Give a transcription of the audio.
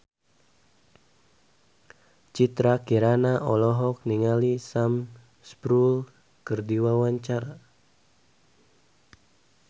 Citra Kirana olohok ningali Sam Spruell keur diwawancara